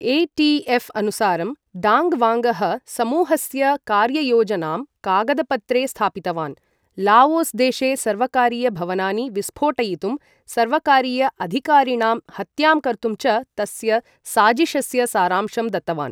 ETF अनुसारं Dang वाङ्गः समूहस्य कार्ययोजनां कागदपत्रे स्थापितवान्, लाओस् देशे सर्वकारीयभवनानि विस्फोटयितुं, सर्वकारीय अधिकारिणां हत्यां कर्तुं च तस्य साजिशस्य सारांशं दत्तवान्